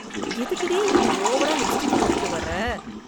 எதுக்குடி இப்படி ஓவரா லிப்ஸ்டிக் போட்டுட்டு வர்ற?